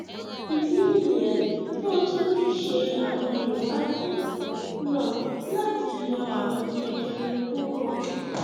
ìdí nìyẹn tó o tún fi ń ṣe àwọn ìwádìí náà láti yọ ààrùn jẹjẹrẹ kúrò